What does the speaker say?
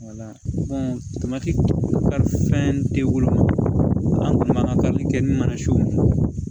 fɛn tɛ woloma an kun m'an ka tali kɛ ni manasiw